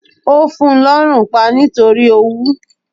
Ó fun lọ́rùn pa nítorí owú